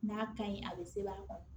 N'a kaɲi a bɛ sɛbɛn a kɔnɔ